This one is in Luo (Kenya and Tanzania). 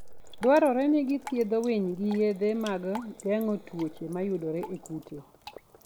Dwarore ni githiedh winy gi yedhe mag geng'o tuoche mayudore e kute.